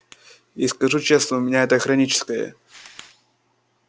и скажу честно у меня это хроническое